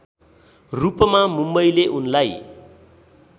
रूपमा मुम्बईले उनलाई